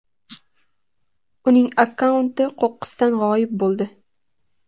Uning akkaunti qo‘qqisdan g‘oyib bo‘ldi.